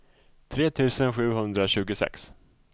tre tusen sjuhundratjugosex